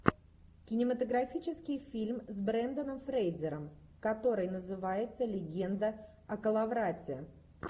кинематографический фильм с бренданом фрейзером который называется легенда о коловрате